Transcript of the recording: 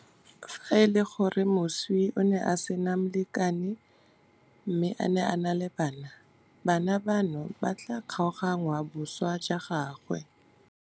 Fa e le gore moswi o ne a sena molekane mme a na le bana, bana bano ba tla kgaoganngwa boswa jwa gagwe.